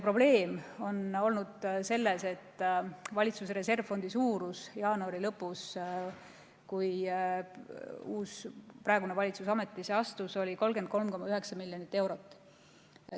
Probleem on olnud selles, et valitsuse reservfondi suurus jaanuari lõpus, kui uus, praegune valitsus ametisse astus, oli 33,9 miljonit eurot.